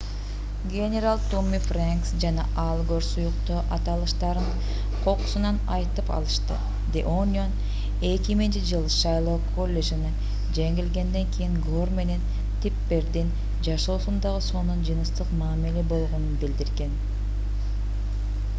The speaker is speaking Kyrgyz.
генерал томми фрэнкс жана аль гор сүйүктүү аталыштарын кокусунан айтып алышты the onion 2000-ж. шайлоо коллежине жеңилгенден кийин гор менен типпердин жашоосундагы сонун жыныстык мамиле болгонун билдирген